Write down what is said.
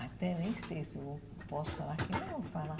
Até nem sei se eu posso falar aqui, mas vou falar.